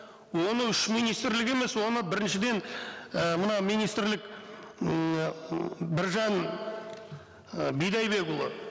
оны үш министрлік емес оны біріншіден і мына министрлік ммм біржан і бидайбекұлы